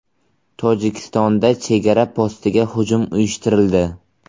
Tojikistonda chegara postiga hujum uyushtirildi.